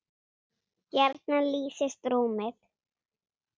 gjarnan lýsist rúmið